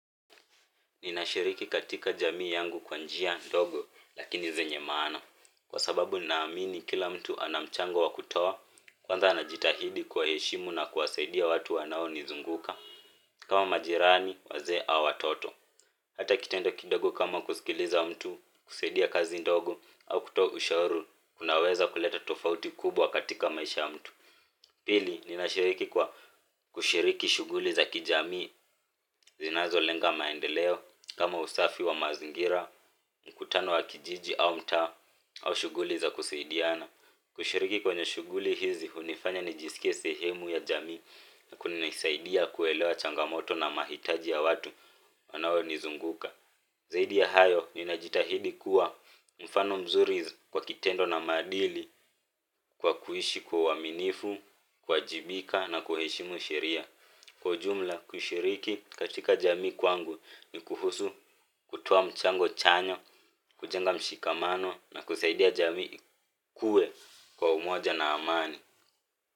Ninashiriki katika jamii yangu kwa njia ndogo lakini zenye maana kwa sababu ninaamini kila mtu ana mchango wa kutoa kwanza anajitahidi kuwaheshimu na kuwasaidia watu wanaonizunguka kama majirani wazee au watoto. Hata kitendo kidogo kama kusikiliza mtu, kusaidia kazi ndogo au kutoa ushauri unaeza kuleta tofauti kubwa katika maisha ya mtu pili, ninashiriki kwa kushiriki shughuli za kijamii zinazolenga maendeleo kama usafi wa mazingira, mkutano wa kijiji au mtaa, au shughuli za kusaidiana. Kushiriki kwenye shughuli hizi, hunifanya nijisikie sehemu ya jamii na kunanisaidia kuelewa changamoto na mahitaji ya watu wanaonizunguka. Zaidi ya hayo, ninajitahidi kuwa mfano mzuri kwa kitendo na maadili kwa kuishi kwa uaminifu, kuwajibika na kuheshimu sheria. Kwa jumla, kushiriki katika jamii kwangu ni kuhusu kutoa mchango chanya, kujenga mshikamano na kusaidia jamii ikue kwa umoja na amani.